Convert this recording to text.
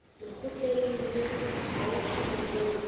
lekgotleng le haufi le moo